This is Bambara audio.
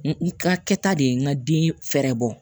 N ka kɛta de ye n ka den fɛɛrɛ bɔ